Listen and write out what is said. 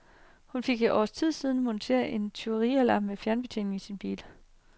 Hun fik for et års tid siden monteret en tyverialarm med fjernbetjening i sin bil.